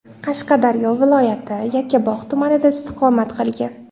Qashqadaryo viloyati Yakkabog‘ tumanida istiqomat qilgan.